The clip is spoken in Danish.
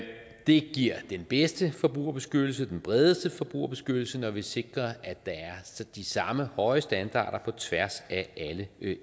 det giver den bedste forbrugerbeskyttelse den bredeste forbrugerbeskyttelse når vi sikrer at der er de samme høje standarder på tværs af alle eu